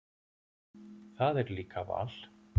Það er líka val.